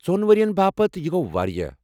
ژۄن ؤرۍ ین باپت، یہٕ گوٚو واریاہ